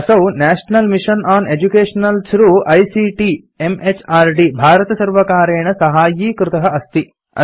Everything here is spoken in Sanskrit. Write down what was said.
असौ national mission on education through ICT म्हृद् भारतसर्वकारेण साहाय्यीकृत अस्ति